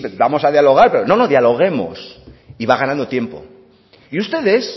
vamos a dialogar pero no no dialoguemos y va ganando tiempo y ustedes